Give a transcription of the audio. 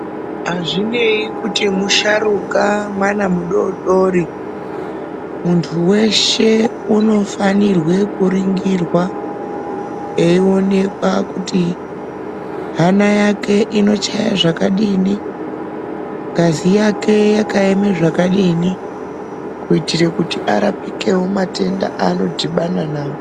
Azvinei kuti musharuka mwana mudodori muntu weshe unofanirwe kuringirwa eionekwa kuti hana yakwe inochaye zvakadini ngazi yake yakaema zvakadini kuti arapikewo matenda aanodhibana nawo.